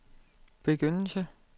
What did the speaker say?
begyndelse